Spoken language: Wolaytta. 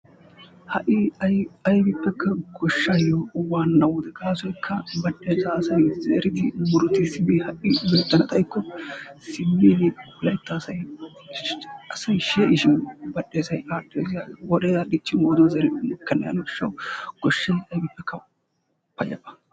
Ha'i aybippekka goshshaayo waanna wode, gaasoykka badhdheesaa asay zeridi murutissidi ha'i beettana xaykko simmidi laytta asay she'ishin badhdheesay aadhdhees. Wodee aadhdhiichchin wooruwan zerin mokkenna gishshawu goshshay aybippekka payyaba.